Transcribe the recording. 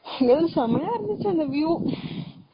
அய்யோ செம்மையை இருந்துச்சு அந்த view